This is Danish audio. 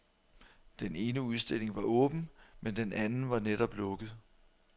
Den ene udstilling var åben, men den anden var netop lukket.